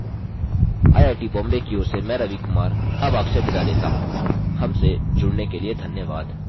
I I T Bombay की ओर से मैं रवि कुमार अब आपसे विदा लेता हूँ हमसे जुड़ने के लिए धन्यवाद